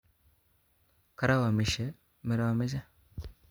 Karaomishe meromoche